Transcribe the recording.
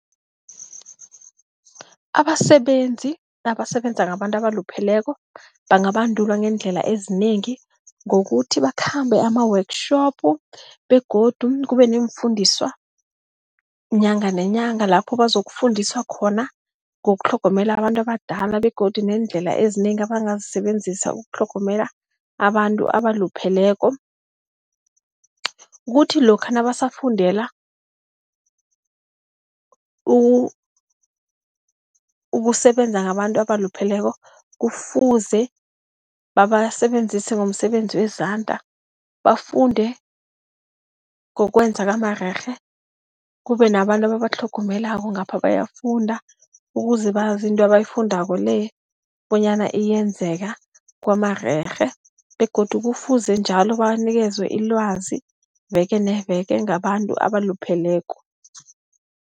Abasebenzi abasebenza ngabantu abalupheleko bangabandulwa ngeendlela ezinengi, ngokuthi bakhambe ama-workshop begodu kube neemfundiswa inyanga nenyanga, lapho bazokufundiswa khona ngokutlhogomela abantu abadala begodu neendlela ezinengi abangazisebenzisa ukutlhogomela abantu abalupheleko. Kuthi lokha nabasafundela ukusebenza ngabantu abalupheleko kufuze babasebenzise nomsebenzi wezandla bafunde ngokwenza kwamarerhe, kube nabantu ababatlhogomelako ngapha bayafunda, ukuze bazi into abayifundako le bonyana iyenzeka kwamarerhe begodu kufuze njalo babanikezwe ilwazi veke neveke ngabantu abalupheleko.